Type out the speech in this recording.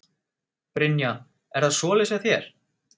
Brynja: Er það svoleiðis hjá þér?